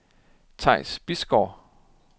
Theis Bisgaard